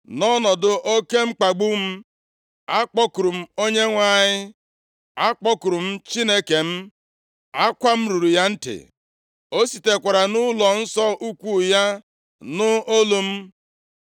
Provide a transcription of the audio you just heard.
“Nʼọnọdụ oke mkpagbu m, akpọkuru m Onyenwe anyị, akpọkuru m Chineke m. Akwa m ruru ya ntị. O sitekwara nʼụlọnsọ ukwu ya nụ olu m.